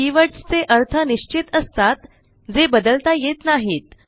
keywords चे अर्थ निश्चित असतात जे बदलता येत नाहीत